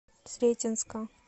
сретенска